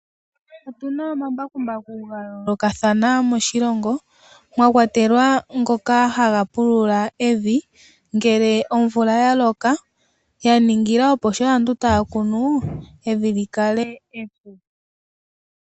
Otuna wo omambakumbaku ga yolokathana moshilongo, mokwatelwa goka hagapulula evi ngele omvula yaloka, yaningila opo sha aantu tayakunu, evi li kale epu.